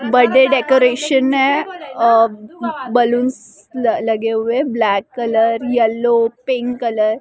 birthday decoration है और balloons लगे हुए हैं black colour yellow pink colour --